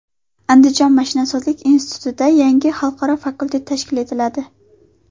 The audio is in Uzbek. Andijon mashinasozlik institutida yangi xalqaro fakultet tashkil etiladi.